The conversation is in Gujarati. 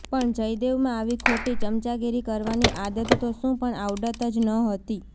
પણ જયદેવમાં આવી ખોટી ચમચાગીરી કરવાની આદત તો શું પણ આવડત જ નહતી